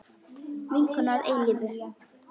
Vinkona að eilífu.